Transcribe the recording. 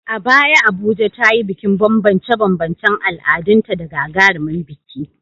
A baya Abuja ta yi bikin banbance-banbancen al’adunta da gagarumin biki.